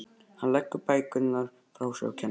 Hann leggur bækurnar frá sér á kennaraborðið.